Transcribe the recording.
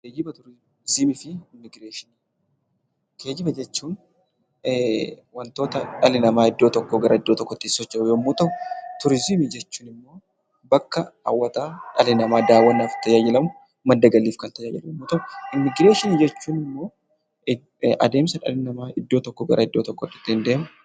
Geejjiba, Turiizimii fi Immigireeshinii. Geejjiba jechuun wantoota dhalli namaa iddoo tokkoo gara iddoo tokkootti ittiin socho'u yommuu ta'u; Turiizimii jechuun immoo bakka hawwataa dhalli namaa daawwannaaf tajaajilamu madda galiif kan tajaajilu yommuu ta'u; Immigireeshiniin jechuun immoo adeemsa dhalli namaa iddoo tokkoo gara iddoo tokkootti ittiin deemudha.